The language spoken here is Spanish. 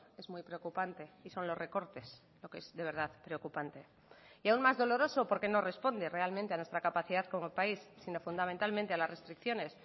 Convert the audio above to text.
es muy preocupante y son los recortes lo que es de verdad preocupante y aún más doloroso porque no responde realmente a nuestra capacidad como país sino fundamentalmente a las restricciones